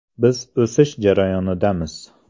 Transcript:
Biz o‘sish jarayonidamiz.